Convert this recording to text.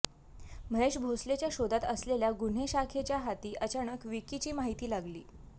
महेश भोसलेच्या शोधात असलेल्या गुन्हे शाखेच्या हाती अचानक विकीची माहिती लागली